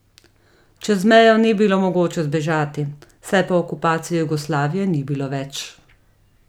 Čez mejo ni bilo mogoče zbežati, saj po okupaciji Jugoslavije ni bilo več.